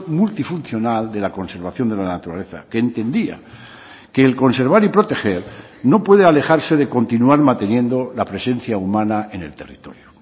multifuncional de la conservación de la naturaleza que entendía que el conservar y proteger no puede alejarse de continuar manteniendo la presencia humana en el territorio